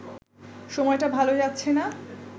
সময়টা ভালো যাচ্ছে না